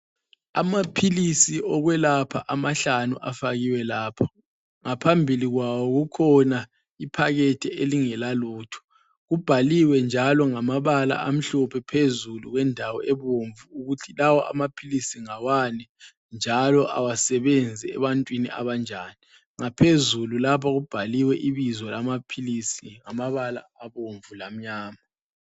Amaphilisi okwelapha amahlanu afakiwe lapha. Ngaphambili kwawo kukhona iphakethe elingelalutho. Kubhaliwe njalo ngamabala amhlophe phezulu kwendawo ebomvu ukuthi lawa amaphilisi ngawani njalo awasebenzi ebantwini abanjani. Ngaphezulu lapha kubhaliwe ibizo lamaphilisi ngamabala abomvu lamnyama.